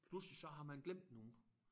Pludselig så har man glemt nogen